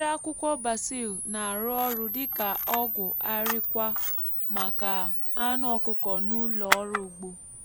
mmiri akwukwo basil na-arụ ọrụ dị ka ọgwụ àríkwá maka anụ ọkụkọ n’ụlọ ọrụ ugbo.